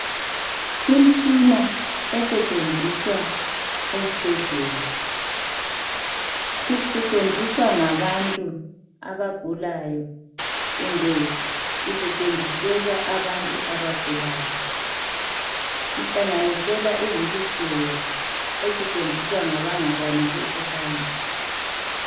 Imtshina esetshenziswa esibhedlela isetshenziswa ngabantu abagulayo kumbe isetshenziselwa abantu abagulayo. Ihlanganisela iwilitsheya esetshenziswa ngabangakwanisi ukuhamba.